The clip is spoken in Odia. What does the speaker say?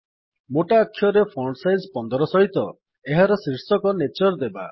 ମୋଟା ଅକ୍ଷରରେ ଫଣ୍ଟ୍ ସାଇଜ 15 ସହିତ ଏହାର ଶୀର୍ଷକ ନ୍ୟାଚର ଦେବା